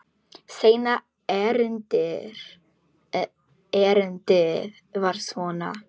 Seinna erindið var svona: